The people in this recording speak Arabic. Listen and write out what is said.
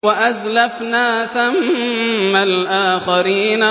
وَأَزْلَفْنَا ثَمَّ الْآخَرِينَ